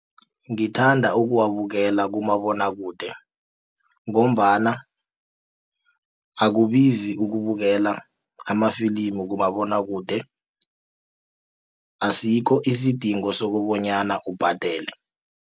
Ngithanda ukuwabukela kumabonwakude ngombana akubizi ukubukela amafilimi kumabonwakude asikho isidingo sokobonyana ubhadele.